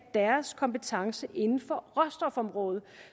deres kompetence inden for råstofområdet